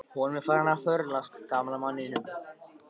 Honum er farið að förlast, gamla manninum.